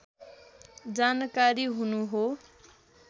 जानकारी हुनु हो